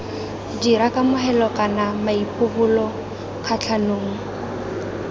dira kamogelo kana maipobolo kgatlhanong